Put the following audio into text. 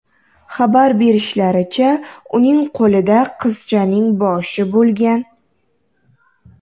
Xabar berishlaricha , uning qo‘lida qizchaning boshi bo‘lgan.